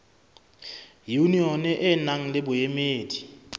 yunione e nang le boemedi